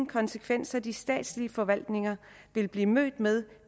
konsekvenser de statslige forvaltninger vil blive mødt med